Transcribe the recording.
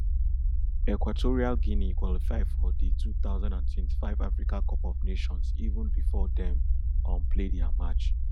equatorial guinea qualify for di two thousand and twenty-five africa cup of nations even bifor dem um play dia match